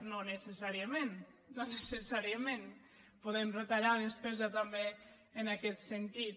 no necessàriament no necessàriament podem retallar despesa també en aquest sentit